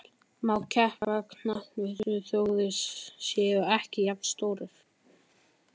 Má keppa á knattspyrnuvöllum þó þeir séu ekki jafnstórir?